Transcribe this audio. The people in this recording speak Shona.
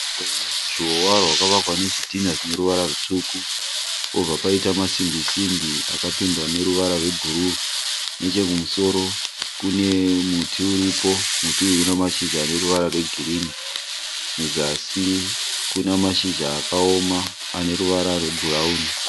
Ruzhowa rwakavakwa nezvidhinha zvineruvara rutsvuku pobva paita masimbi simbi akapendwa neruvara rwebhuru nechekumusoro kune muti uripo, muti uyu una mashizha aneruvara rwegirini kuzasi kuna mashizha akaoma aneruvara rwebhurauni